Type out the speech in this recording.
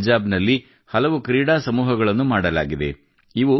ಪಂಜಾಬ್ ನಲ್ಲಿ ಹಲವು ಕ್ರೀಡಾ ಸಮೂಹಗಳನ್ನು ಮಾಡಲಾಗಿದೆ ಇವು